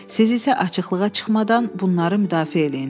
Siz isə açıqlığa çıxmadan bunları müdafiə eləyin.